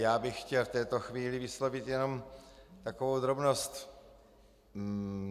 Já bych chtěl v této chvíli vyslovit jenom takovou drobnost.